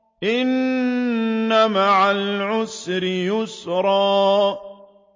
إِنَّ مَعَ الْعُسْرِ يُسْرًا